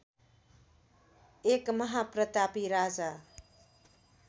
एक महाप्रतापी राजा